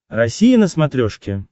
россия на смотрешке